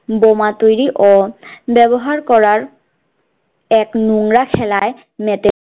বোমা তৈরী ও ব্যবহার করার এক নোংরা খেলায় মেতে